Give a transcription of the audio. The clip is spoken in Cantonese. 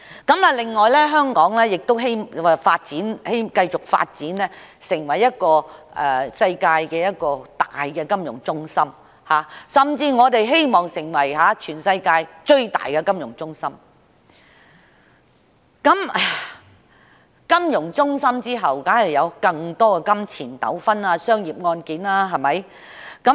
此外，我們希望香港繼續發展成為世界主要的金融中心，甚至成為全世界最大的金融中心，而隨着這些發展，當然會有更多涉及金錢糾紛的商業案件，對嗎？